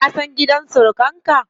Ka san gidan surukan ka?